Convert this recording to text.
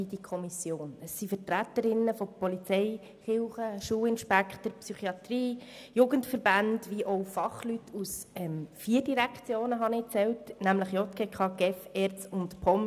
Es befinden sich darin Vertreter der Polizei, der Kirchen, Schulinspektoren, der Psychiatrie, von Jugendverbänden und auch Fachleute der vier Direktionen JGK, GEF, ERZ und POM.